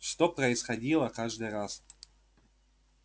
что происходило каждый раз